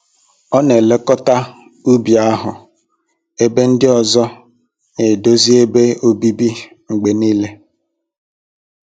Ọ n'elekọta ubi ahụ ebe ndị ọzọ n'edozi ebe obibi mgbe niile.